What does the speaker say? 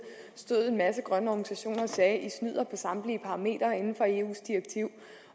stod en masse grønne organisationer og sagde i snyder på samtlige parametre inden for eus direktiv